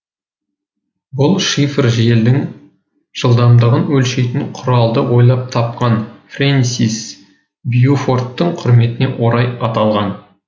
бұл шифр желдің жылдамдығын өлшейтін құралды ойлап тапқан френсис бьюфорттың құрметіне орай аталған